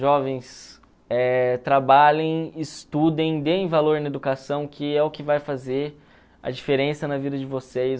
Jovens, eh trabalhem, estudem, deem valor na educação que é o que vai fazer a diferença na vida de vocês.